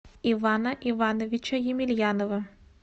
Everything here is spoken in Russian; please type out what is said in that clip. ивана ивановича емельянова